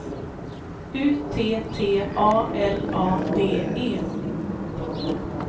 U T T A L A D E